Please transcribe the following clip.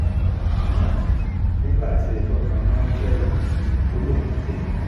àmọ́ nígbà tí ẹjọ́ kan micheal ò lóun kò jẹ̀bi